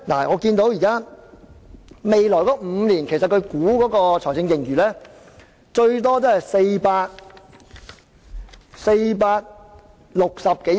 我留意到司長估算未來5年的財政盈餘最多為460多億元。